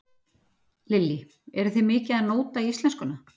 Lillý: Eruð þið mikið að nóta íslenskuna?